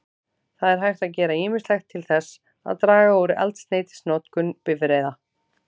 Það er hægt að gera ýmislegt til þess að draga úr eldsneytisnotkun bifreiða.